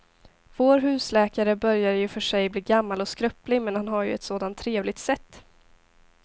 Vår husläkare börjar i och för sig bli gammal och skröplig, men han har ju ett sådant trevligt sätt!